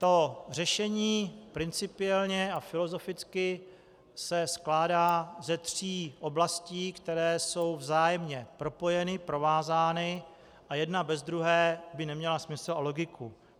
To řešení principiálně a filozoficky se skládá ze tří oblastí, které jsou vzájemně propojeny, provázány a jedna bez druhé by neměla smysl a logiku.